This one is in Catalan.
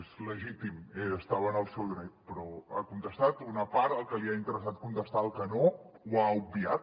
és legítim i estava en el seu dret però ha contestat una part el que li ha interessat contestar el que no ho ha obviat